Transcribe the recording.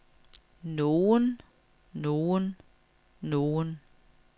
nogen nogen nogen